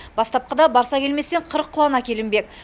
бастапқыда барсакелместен қырық құлан әкелінбек